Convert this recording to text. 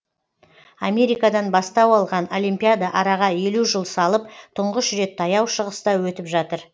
америкадан бастау алған олимпиада араға елу жыл салып тұңғыш рет таяу шығыста өтіп жатыр